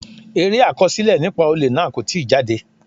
Eré àkọsílẹ̀ nípa olè náà kò tí jáde.